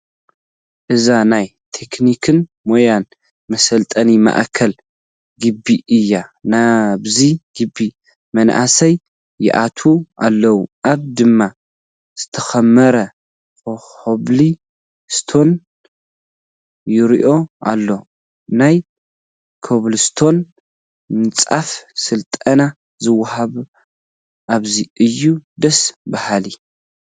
እዚ ናይ ቴክኒክን ሞያን መሰልጠኒ ማእከል ግቢ እዩ፡፡ ናብዚ ግቢ መናእሰይ ይኣትዉ ኣለዉ፡፡ ኣብኡ ድማ ዝተኾመረ ኮብል ስቶን ይርአ ኣሎ፡፡ ናይ ኮብል ስቶን ምንፃፍ ስልጠና ዝወሃብ ኣብዚ እዩ፡፡ ደስ በሃሊ፡፡